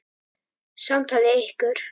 Samtali lýkur.